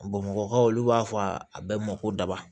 Bɔn bamakɔkaw olu b'a fɔ a bɛɛ ma ko daba